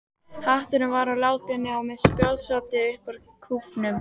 Hatturinn var úr látúni og með spjótsoddi upp úr kúfnum.